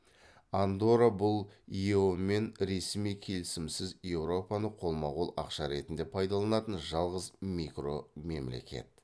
андорра бұл ео мен ресми келісімсіз европаны қолма қол ақша ретінде пайдаланатын жалғыз микро мемлекет